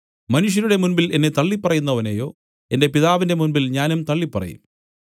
മനുഷ്യരുടെ മുമ്പിൽ എന്നെ തള്ളിപ്പറയുന്നവനെയോ എന്റെ പിതാവിന്റെ മുമ്പിൽ ഞാനും തള്ളിപ്പറയും